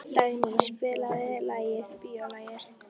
Dagný, spilaðu lagið „Bíólagið“.